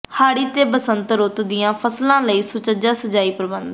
ਹਾੜੀ ਤੇ ਬਸੰਤ ਰੁੱਤ ਦੀਆਂ ਫ਼ਸਲਾਂ ਲਈ ਸੁਚੱਜਾ ਸਿੰਜਾਈ ਪ੍ਰਬੰਧ